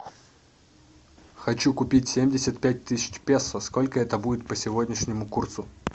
хочу купить семьдесят пять тысяч песо сколько это будет по сегодняшнему курсу